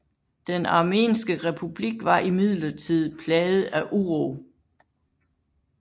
Den armenske republik var imidlertid plaget af uro